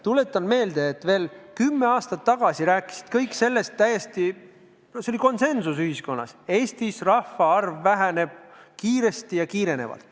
Tuletan meelde, et veel kümme aastat tagasi rääkisid kõik täiesti üksmeelselt – ühiskonnas valitses konsensus –, et Eestis rahvaarv väheneb kiiresti ja aina kiirenedes.